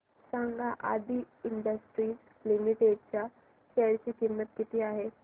सांगा Aadi industries limited च्या share ची किंमत किती आहे